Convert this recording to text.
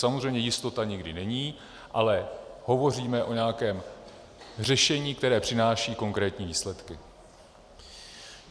Samozřejmě jistota nikdy není, ale hovoříme o nějakém řešení, které přináší konkrétní výsledky.